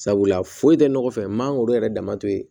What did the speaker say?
Sabula foyi tɛ nɔgɔ fɛ mangoro yɛrɛ dama tɛ ye